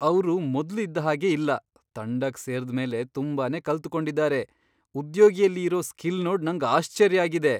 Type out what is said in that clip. ಅವ್ರು ಮೊದ್ಲು ಇದ್ ಹಾಗೆ ಇಲ್ಲ ತಂಡಕ್ ಸೇರ್ದ್ ಮೇಲೆ ತುಂಬಾನೇ ಕಲ್ತು ಕೊಂಡಿದ್ದಾರೆ. ಉದ್ಯೋಗಿಯಲಿ ಇರೋ ಸ್ಕಿಲ್ ನೋಡ್ ನಂಗ್ ಆಶ್ಚರ್ಯ ಆಗಿದೆ.